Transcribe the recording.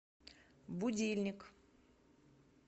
будильник